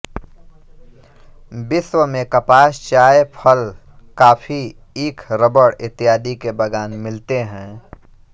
विश्व में कपास चाय फल कॉफ़ी ईख रबड़ इत्यादि के बाग़ान मिलते हैं